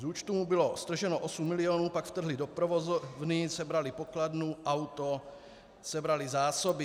Z účtu mu bylo strženo 8 milionů, pak vtrhli do provozovny, sebrali pokladnu, auto, sebrali zásoby.